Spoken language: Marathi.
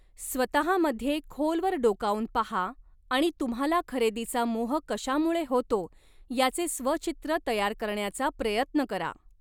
स्वतहामध्ये खोलवर डोकावून पाहा आणि तुम्हाला खरेदीचा मोह कशामुळे होतो याचे स्व चित्र तयार करण्याचा प्रयत्न करा.